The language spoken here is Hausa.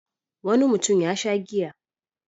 Wani mutum ya sha giya.